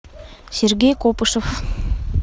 сергей копышев